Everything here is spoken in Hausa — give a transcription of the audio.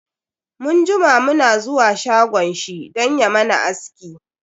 Mun jima mu na zuwa shagon shi dan ya mana aski.